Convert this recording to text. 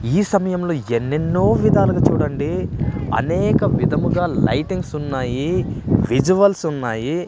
ఈ సమయంలో ఎన్నెన్నో విధాలుగా చూడండి అనేక విధముగా లైటింగ్స్ ఉన్నాయి విజువల్స్ ఉన్నాయి.